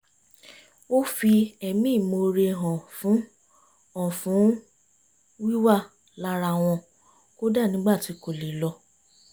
ó fi ẹ̀mí ìmoore hàn fún hàn fún wíwà lára wọn kódà nígbà tí kò lè lọ